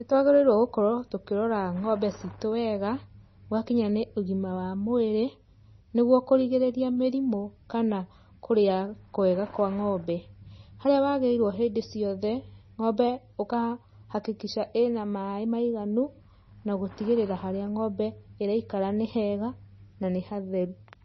Nĩ twagĩrĩirwo gũkorwo tũkĩrora ngombe citũ wega, gwakinya nĩ ũgĩma wa mwĩrĩ, nĩguo kũrigĩrĩria mĩrimũ kana kũrĩa kwega kwa ngombe. Harĩa wagĩrĩirwo hĩndĩ ciothe, ngombe ũka hakikisha ĩna maĩ maiganu, na gũtigĩrira harĩa ngombe ĩraikara nĩ hega, na nĩ hatheru.